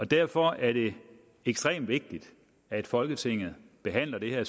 derfor er det ekstremt vigtigt at folketinget behandler det her